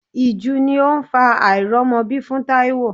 Ìju ni ó ń fa àìrọ́mọbí fún Taiwo.